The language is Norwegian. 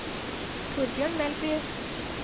Thorbjørn Melby